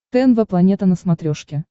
тнв планета на смотрешке